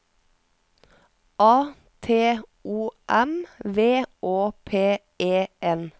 A T O M V Å P E N